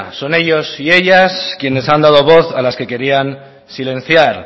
son ellos y ellas quienes han dado voz a las que querían silenciar